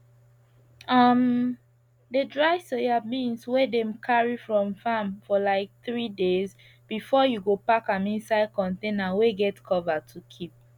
um dey dry soyabeans wey dem carry from farm for like 3days before you go pack am inside container wey get cover to keep